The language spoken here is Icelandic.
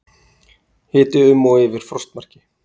Hiti um og yfir frostmarki